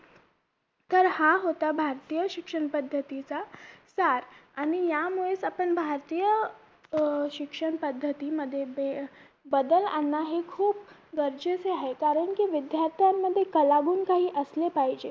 तर हा होता भारतीय शिक्षण पद्धतीचा सार आणि यामुळेच आपण भारतीय अं शिक्षण पद्धतीमध्ये ते बदल आणणं हे खूप गरजेचे आहे कारण कि विद्यार्थ्यांमध्ये कलागुण काही असले पाहिजे